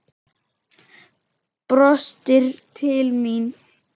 Brostir til mín.